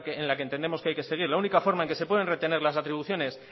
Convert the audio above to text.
la que entendemos que hay seguir la única forma en que se pueden retener las atribuciones